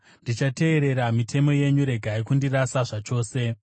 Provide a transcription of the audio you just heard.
Ndichateerera mitemo yenyu; regai kundirasa zvachose.